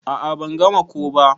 A'a ban gama ko ba.